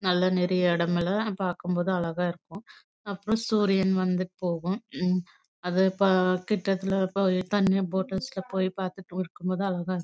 பாக்கும் போது அழகா இருக்கும் அப்பறம் சூரியன் வந்துடு போகும் அது கிடத்துலே போய்